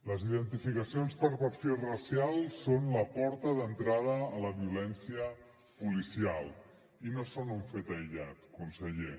les identificacions per perfil racial són la porta d’entrada a la violència policial i no són un fet aïllat conseller